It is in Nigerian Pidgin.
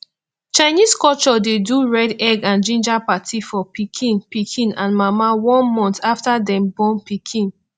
chinese culture de do red egg and ginger party for pikin pikin and mama one month after dem born pikin